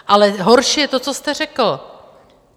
Ale horší je to, co jste, řekl.